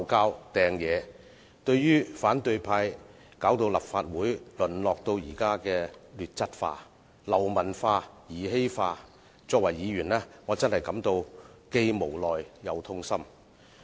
我作為議員，對於反對派令立法會淪落至現時的劣質化、流氓化、兒戲化，真的感到既無奈又痛心。